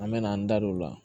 An mɛna an da don o la